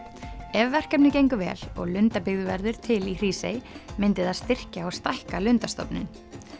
ef verkefnið gengur vel og lundabyggð verður til í Hrísey myndi það styrkja og stækka lundastofninn